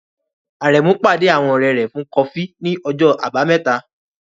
Aremeu pàdé àwọn ọ̀rẹ́ rẹ̀ fún kọfí ní ọjọ́ Àbámẹ́ta.